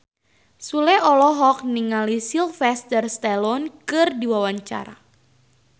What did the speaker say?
Sule olohok ningali Sylvester Stallone keur diwawancara